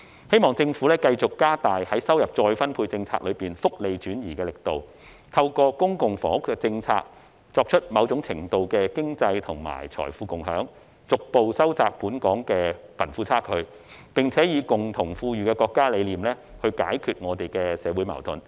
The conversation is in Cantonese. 希望政府繼續加大在收入再分配政策中福利轉移的力度，透過公共房屋政策，作出某種程度的經濟和財富共享，逐步收窄本港的貧富差距，並且以共同富裕的國家理念來解決香港的社會矛盾。